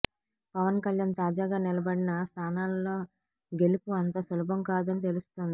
పవన్ కళ్యాణ్ తాజాగా నిలబడిన స్థానాలలో గెలుపు అంత సులభం కాదని తెలుస్తోంది